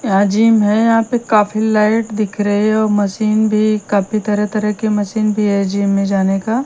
यहां जिम है यहां पे काफी लाइट दिख रही है और मशीन भी काफी तरह-तरह के मशीन भी है जिम में जाने का।